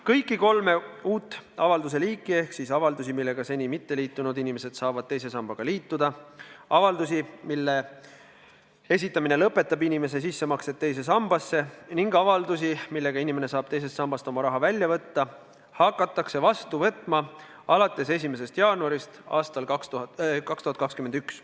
Kõiki kolme liiki avaldusi ehk siis avaldusi, millega seni mitteliitunud inimesed saavad teise sambaga liituda, avaldusi, mille esitamine lõpetab inimese sissemaksed teise sambasse, ning avaldusi, millega inimene saab teisest sambast oma raha välja võtta, hakatakse vastu võtma alates 1. jaanuarist aastal 2021.